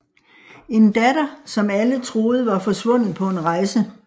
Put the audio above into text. En datter som alle troede var forsvundet på en rejse